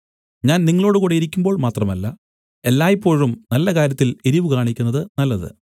ഞാൻ നിങ്ങളോടുകൂടെ ഇരിക്കുമ്പോൾ മാത്രമല്ല എല്ലായ്പോഴും നല്ല കാര്യത്തിൽ എരിവ് കാണിക്കുന്നത് നല്ലത്